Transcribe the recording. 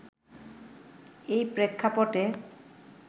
এ প্রেক্ষাপটে